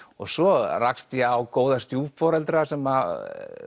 svo rakst ég á góða stjúpforeldra sem